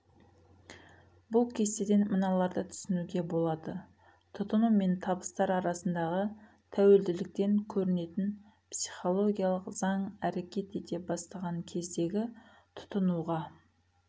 бұл кестеден мыналарды түсінуге болады тұтыну мен табыстар арасындағы тәуелділіктен көрінетін психологиялық заң әрекет ете бастаған кездегі тұтынуға